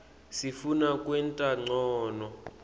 sifuna kwenta ncono